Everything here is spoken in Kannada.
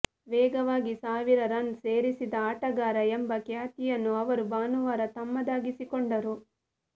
ವೇಗವಾಗಿ ಸಾವಿರ ರನ್ ಸೇರಿಸಿದ ಆಟಗಾರ ಎಂಬ ಖ್ಯಾತಿಯನ್ನು ಅವರು ಭಾನುವಾರ ತಮ್ಮದಾಗಿಸಿಕೊಂಡರು